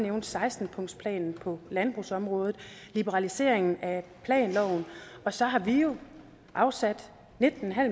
nævne seksten punktsplanen på landbrugsområdet liberaliseringen af planloven og så har vi jo afsat nitten